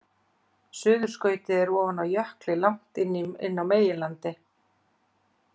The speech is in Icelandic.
Suðurskautið er ofan á jökli langt inni á meginlandi.